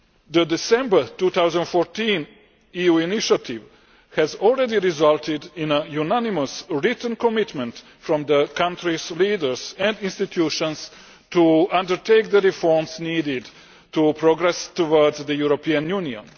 The December 2014 EU initiative has already resulted in a unanimous written commitment from the country's leaders and institutions to undertake the reforms needed to progress towards the European Union.